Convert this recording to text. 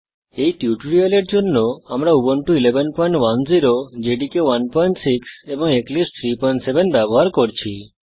এই টিউটোরিয়ালের জন্য আমরা উবুন্টু 1110 জেডিকে 16 এবং এক্লিপসে 37 ব্যবহার করছি